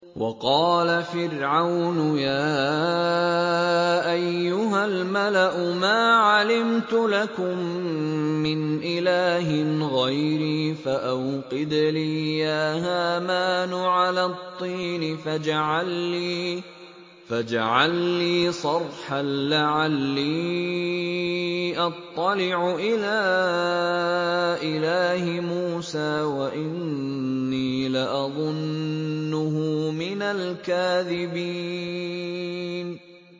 وَقَالَ فِرْعَوْنُ يَا أَيُّهَا الْمَلَأُ مَا عَلِمْتُ لَكُم مِّنْ إِلَٰهٍ غَيْرِي فَأَوْقِدْ لِي يَا هَامَانُ عَلَى الطِّينِ فَاجْعَل لِّي صَرْحًا لَّعَلِّي أَطَّلِعُ إِلَىٰ إِلَٰهِ مُوسَىٰ وَإِنِّي لَأَظُنُّهُ مِنَ الْكَاذِبِينَ